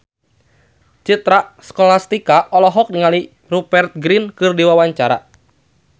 Citra Scholastika olohok ningali Rupert Grin keur diwawancara